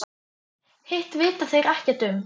Hitt vita þeir ekkert um.